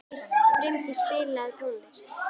Brimdís, spilaðu tónlist.